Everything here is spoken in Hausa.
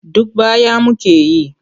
Duk baya muke yi.